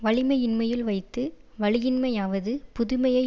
வலிமையின்மையுள் வைத்து வலியின்மையாவது புதுமையை